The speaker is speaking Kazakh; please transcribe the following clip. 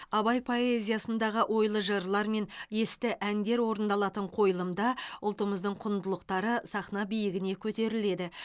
абай поэзиясындағы ойлы жырлар мен есті әндер орындалатын қойылымда ұлттымыздың құндылықтары сахна биігіне көтеріледі